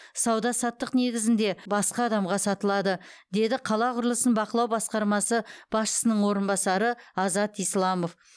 сауда саттық негізінде басқа адамдаға сатылады деді қала құрылысын бақылау басқармасы басшысының орынбасары азат исламов